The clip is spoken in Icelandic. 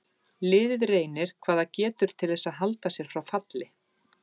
Liðið reynir hvað það getur til þess að halda sér frá falli.